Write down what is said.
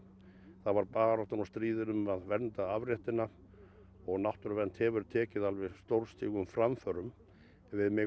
þá var baráttan og stríðið um að vernda afréttina og náttúruvernd hefur tekið alveg stórstígum framförum en við megum